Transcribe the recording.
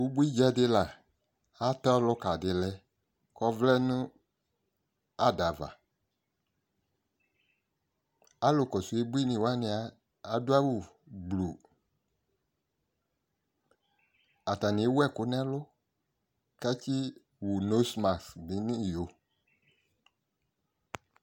ubui djadila atɛ ɔluka dilɛ ɔvlɛ nu adava alu kɔ su ubuini wani adu au ɔfue atani ewu ɛku nu ɛlu kati wu nu iyo